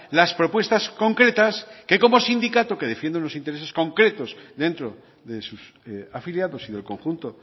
las propuestas concretas que como sindicato que defiende unos intereses concretos dentro de sus afiliados y del conjunto